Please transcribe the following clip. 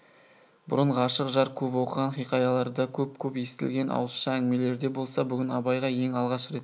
бұрын ғашық жар көп оқыған хиқаяларда көп-көп естілген ауызша әңгімелерде болса бүгін абайға ең алғаш рет